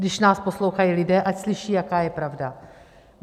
Když nás poslouchají lidé, ať slyší, jaká je pravda.